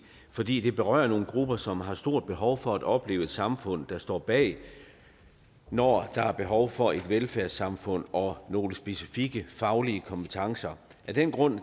fordi det berører nogle grupper som har stort behov for at opleve et samfund der står bag når der er behov for et velfærdssamfund og nogle specifikke faglige kompetencer af den grund